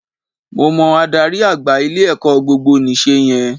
Mo mọ adarí àgbà ilé-ẹ̀kọ́ gbogbonìse yẹn